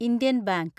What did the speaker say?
Indian bank